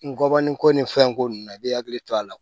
Ngɔbɔnin ko ni fɛn ko ninnu na i bi hakili to a la